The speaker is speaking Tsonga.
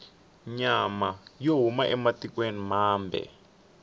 nyama yo huma ematikwena mambe